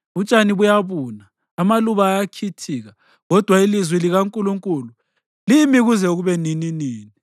Utshani buyabuna, amaluba ayakhithika, kodwa ilizwi likaNkulunkulu limi kuze kube nininini.”